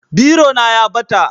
Biro na ya ɓata